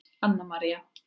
Anna María